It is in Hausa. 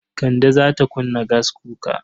Kande za ta kunna gaskuka.